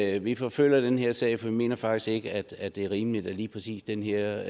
at vi forfølger den her sag for vi mener faktisk ikke at det er rimeligt at lige præcis den her